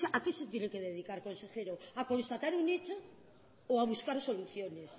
a qué se tiene que dedicar consejero a constatar un hecho o a buscar soluciones